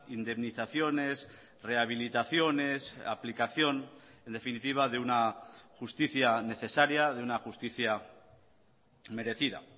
indemnizaciones rehabilitaciones aplicación en definitiva de una justicia necesaria de una justicia merecida